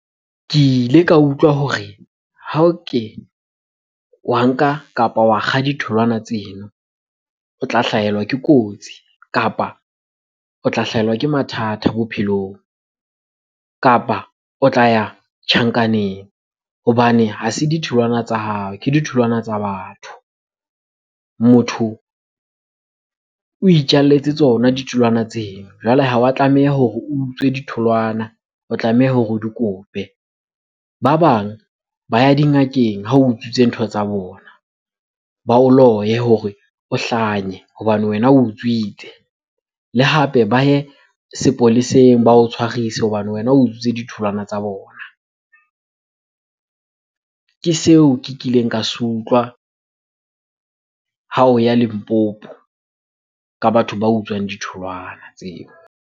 Ke ile ka utlwa hore ha o ke wa nka kapa wa kga ditholwana tseno, o tla hlahelwa ke kotsi kapa o tla hlahelwa ke mathata bophelong. Kapa o tla ya tjhankaneng hobane ha se ditholwana tsa hao ke ditholwana tsa batho. Motho o itjalletse tsona ditholwana tseno, jwale ha wa tlameha hore o utswe ditholwana o tlameha hore o di kope. Ba bang ba ya dingakeng ha o utswitse ntho tsa bona. Ba o loye hore o hlanye hobane wena o utswitse. Le hape ba ye sepoleseng ba o tshwarise hobane wena o utswitswe ditholwana tsa bona. Ke seo ke kileng ka se utlwa ha o ya Limpopo ka batho ba utswang ditholwana tseo.